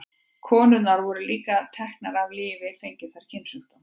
Konurnar voru líka teknar af lífi fengju þær kynsjúkdóma.